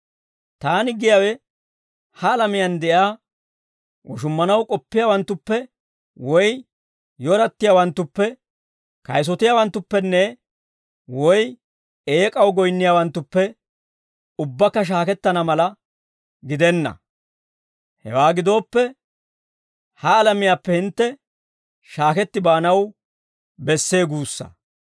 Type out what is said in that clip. Taani giyaawe ha alamiyaan de'iyaa woshummanaw k'oppiyaawanttuppe woy yorattiyaawanttuppe, kayisotiyaawanttupenne woy eek'aw goyinniyaawanttuppe ubbakka shaakettana mala gidenna. Hewaa gidooppe, ha alamiyaappe hintte shaaketti baanaw bessee guussaa.